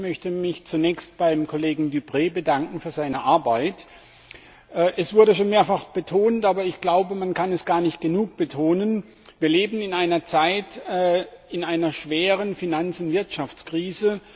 Auch ich möchte mich zunächst beim Kollegen Deprez für seine Arbeit bedanken. Es wurde schon mehrfach betont, aber ich glaube, man kann es gar nicht genug betonen Wir leben in einer Zeit, in einer schweren Finanz und Wirtschaftskrise.